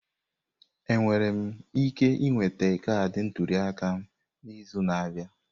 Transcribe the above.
Enwere m ike ị nwete kaadị ntuli aka m n'izu na-abịa?